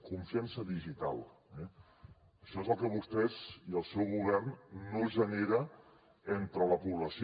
confiança digital eh això és el que vostès i el seu govern no generen entre la població